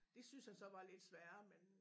Det syntes han så var lidt sværere men